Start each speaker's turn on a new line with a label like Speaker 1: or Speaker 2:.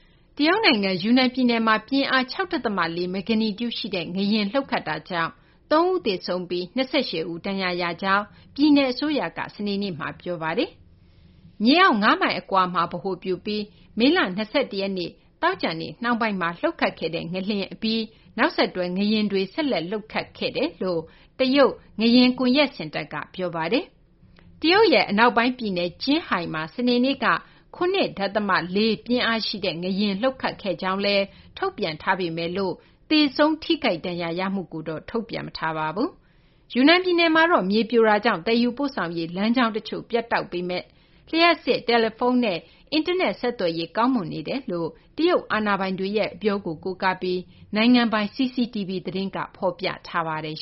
Speaker 1: တရုတ်နိုင်ငံ ယူနန်ပြည်နယ်မှာ ပြင်းအား ၆ ဒသမ ၄ မဂ္ဂနီကျုရှိတဲ့ ငလျင် လှုပ်ခတ်တာကြောင့် ၃ ဦး သေဆုံးပြီး ၂၈ ဦး ဒဏ်ရာရရှိကြောင်း ပြည်နယ်အစိုးရက စနေနေ့မှာ ပြောပါတယ်။ မြေအောက် ၅ မိုင်အကွာမှာ ဗဟိုပြုပြီး မေလ ၂၁ ရက်နေ့ သောကြာနေ့ နှောင်းပိုင်းမှာ လှုပ်ခတ်ခဲ့တဲ့ ငလျင် လှုပ်ခတ်ပြီးနောက် နောက်ဆက်တွဲ ငလျင်တွေ ဆက်လှုပ်ခတ်ခဲ့ကြောင်း တရုတ် ငလျင်ကွန်ရက်စင်တာက ပြောပါတယ်။ တရုတ်ရဲ့ အနောက်ပိုင်းပြည်နယ် ကျင်းဟိုင်မှာ စနေနေ့က ၇ ဒသမ ၄ ပြင်းအားရှိ ငလျင် လှုပ်ခတ်ခဲ့ကြောင်းလည်း ထုတ်ပြန်ထားပေမယ့် သေဆုံး ထိခိုက်ဒဏ်ရာရမှုကိုတော့ ထုတ်ပြန်မထားပါဘူး။ ယူနန်ပြည်နယ်မှာတော့ မြေပြိုတာကြောင့် သယ်ယူပို့ဆောင်ရေး လမ်းကြောင်းတချို့ ပြတ်တောက်နေပေမယ့် လျှပ်စစ်၊ တယ်လီဖုန်းနဲ့ အင်တာနက်ဆက်သွယ်ရေး ကောင်းမွန်နေကြောင်း တရုတ်အာဏာပိုင်တွေရဲ့ အပြောကို ကိုးကားပြီး တရုတ်နိုင်ငံပိုင် CCTV သတင်းက ဖော်ပြ
Speaker 2: ပါတယ်